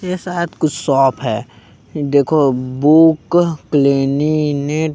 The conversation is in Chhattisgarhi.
ये शायद कुछ शॉप हे देखो बुक क्लेनिनेट--